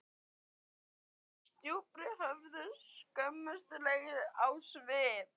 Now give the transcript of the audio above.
Thomas drúpti höfði, skömmustulegur á svip.